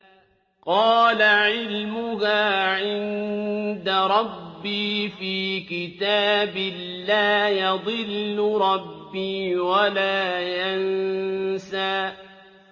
قَالَ عِلْمُهَا عِندَ رَبِّي فِي كِتَابٍ ۖ لَّا يَضِلُّ رَبِّي وَلَا يَنسَى